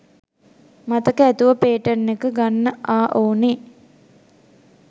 මතක ඇතුව පේටන් එක ගන්නආ ඔවුනෙ.